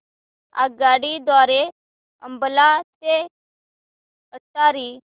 आगगाडी द्वारे अंबाला ते अटारी